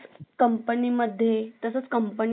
Hello बोला sir